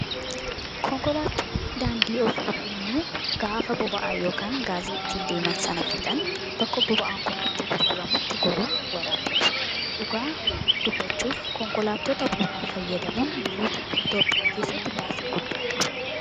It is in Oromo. Konkolaattonni daandii osoo deemanuu gaafa boba'aa yookaan gaasii ittiin deeman sana fixan bakka boba'aan kun itti gurguramutti goruun waraabbatu. Dhugaa dubbachuuf konkolaattota boba'aa fayyadamuun biyyoota akka Itoophiyaa keessatti baasii guddaa qaba.